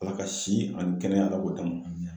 Ala ka si ani kɛnɛya Ala k'o d'an ma